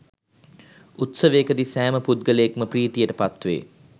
උත්සවයකදී සෑම පුද්ගලයෙක්ම ප්‍රීතියට පත්වේ